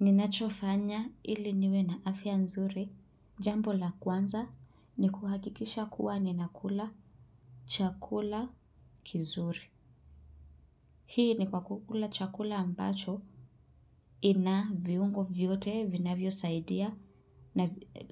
Ninachofanya ili niwe na afya nzuri, jambo la kwanza ni kuhakikisha kuwa ninakula chakula kizuri. Hii ni kwa kukula chakula ambacho ina viungo vyote, vinavyo saidia,